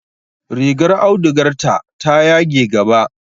Rigar audugarta ta yage gaba.